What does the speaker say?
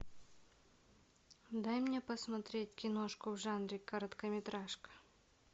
дай мне посмотреть киношку в жанре короткометражка